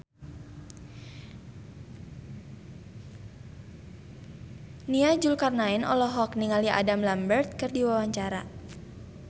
Nia Zulkarnaen olohok ningali Adam Lambert keur diwawancara